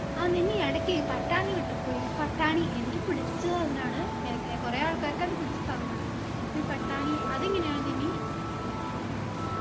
ആ നനി എടക്കെ പട്ടാണി വിട്ട് പോയി പട്ടാണി എനിക്ക് പിടിചിട്ട് അതിനാണ് എ എ കുറേ ആൾക്കാർക്ക് അത് പിടിച്ച സാധനാണ് പ്പൊ ഈ പട്ടാണി അതെങ്ങനെയാണ് നനി